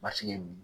Basigi ye min ye